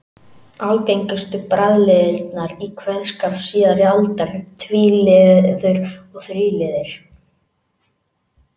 Algengustu bragliðirnir í kveðskap síðari alda eru tvíliður og þríliðir.